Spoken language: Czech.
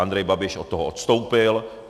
Andrej Babiš od toho ustoupil.